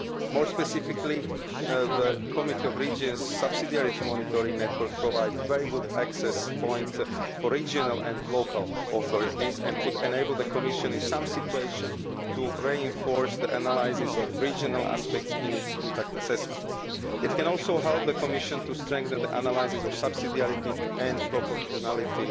More specifically, the Committee of the Regions' subsidiarity monitoring network provides a very good access point for regional and local authorities, and can enable the Commission, in some situations, to reinforce the analysis of regional aspects in its impact assessments. It can also help the Commission to strengthen the analysis of subsidiarity and proportionality